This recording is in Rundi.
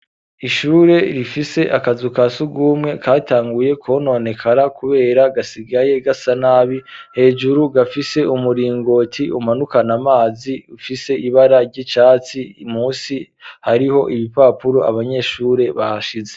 Ishure rifise akazu kasugumwe katanguye kononekara kubera gasigaye gasa nabi hejuru gafise umuringoti umanukana amazi ufise ibara ry'icatsi musi hariho ibipapuro abanyeshure bahashize